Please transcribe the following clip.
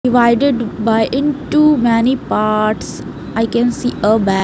Divided by in to many parts i can see a ba --